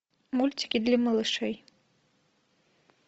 мультики для малышей